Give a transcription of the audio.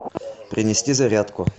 принести зарядку